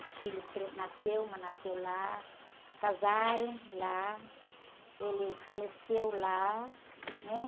Os filhos, cre, nasceu, uma nasceu lá, casaram lá, ele faleceu lá, né?